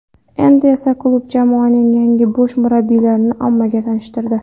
Endi esa klub jamoaning yangi bosh murabbiyini ommaga tanishtirdi.